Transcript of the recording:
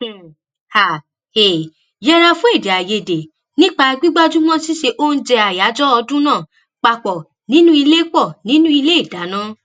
um a um yẹra fún èdèàìyedè nípa gbígbájú mó síse oúnjẹ àyájọ ọdún náà pa pò nínú ilé pò nínú ilé ìdáná